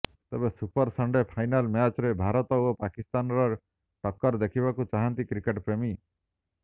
ତେବେ super Sunday final ମ୍ୟାଚରେ ଭାରତ ଓ ପାକିସ୍ତାନର ଟକ୍କର ଦେଖିବାକୁ ଚାହାନ୍ତି କ୍ରିକେଟପ୍ରେମୀ